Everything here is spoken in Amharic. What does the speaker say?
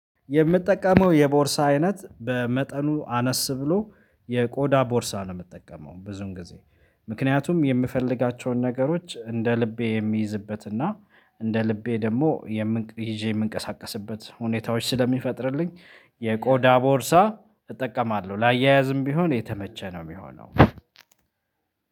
የምጠቀመው የቦርሳ አይነት በመጠኑ አነስ ብሎ የቆዳ ቦርሳ ነው የምጠቀመው ብዙዉን ጊዜ። ምክንያቱም የምፈልጋቸውን ነገሮች እንደ ልቤ የሚይዝበትና እንደ ልቤ ደግሞ ይዤ የምንቀሳቀስበት ሁኔታዎች ስለሚፈጥርልኝ የቆዳ ቦርሳ እጠቀማለሁ። ላያይዝም ቢሆን የተመቸ ነው የሚሆነው።